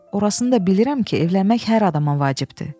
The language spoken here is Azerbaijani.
Orasını da bilirəm ki, evlənmək hər adama vacibdir.